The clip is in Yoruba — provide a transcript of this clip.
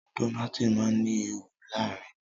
Dónáátì má ní ìwo láàrin.